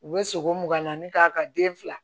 U bɛ sogo mugan naani k'a ka den fila